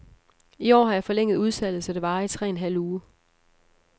I år har jeg forlænget udsalget, så det varer i tre en halv uge.